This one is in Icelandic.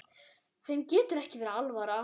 Þeim getur ekki verið alvara.